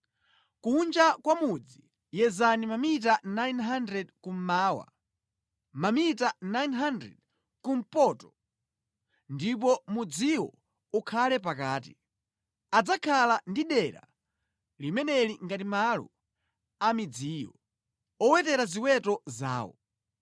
Kunja kwa mudzi yezani mamita 900 kummawa, mamita 900 kumpoto ndipo mudziwo ukhale pakati. Adzakhala ndi dera limeneli ngati malo a midziyo, owetera ziweto zawo.